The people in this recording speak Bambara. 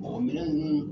minɛn ninnu